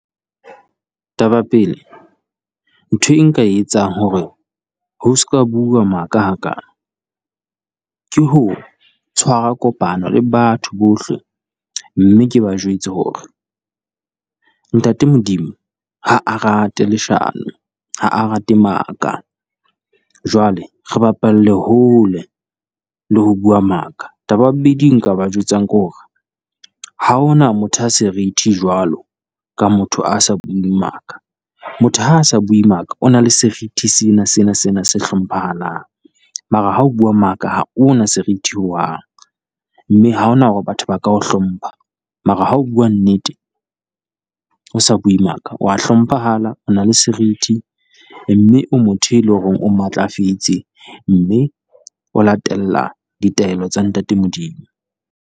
Taba pele ntho e nka e etsang hore ho se ka bua maka hakana, ke ho tshwara kopano le batho bohle mme ke ba jwetse hore Ntate Modimo ha a rate leshano, ha a rate maka. Jwale re bapalle hole le ho bua maka, taba ya bobedi e nka ba jwetsang ke hore ha hona motho a serithi jwalo ka motho a sa buing maka. Motho ha a sa bue maka o na le serithi sena sena sena se hlomphahalang, mara ha o bua maka ha ona serithi ho hang, mme ha hona hore batho ka o hlompha. Mara Ha o bua nnete, o sa bui maka wa hlomphahala, o na le serithi, e mme o motho e le ho reng o matlafetse, mme o latella ditaelo tsa ntate Modimo.